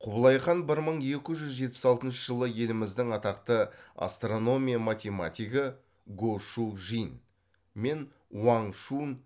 құбылай хан бір мың екі жүз жетпіс алтыншы жылы еліміздің атақты астрономия математигі го шу жин мен уаң шунь